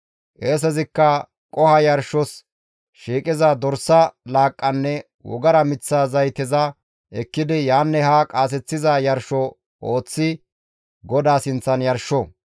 Qeesezikka qoho yarshos shiiqiza dorsa laaqqanne wogara miththa zayteza ekkidi yaanne haa qaaseththiza yarsho ooththi GODAA sinththan yarsho.